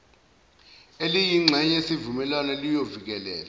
eliyingxenye yesivumelwane liyovikela